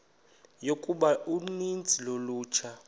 yokuba uninzi lolutsha